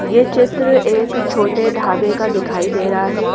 ये चित्र एक छोटे ढाबे का दिखाई दे रहा है।